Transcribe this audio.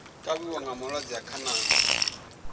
kavhiwa nga malwadze a khanani